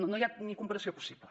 no hi ha ni comparació possible